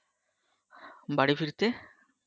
বাড়ি ফিরতে?